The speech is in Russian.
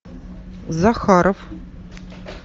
захаров